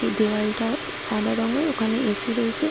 এই দেয়ালটা সাদা রঙের ওখানে এ.সি রয়েছে ।